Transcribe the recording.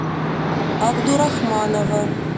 абдурахманова